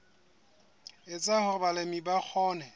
etsa hore balemi ba kgone